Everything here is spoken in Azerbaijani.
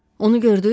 Onu gördüz?